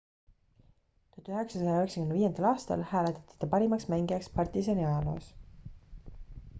1995 aastal hääletati ta parimaks mängijaks partizani ajaloos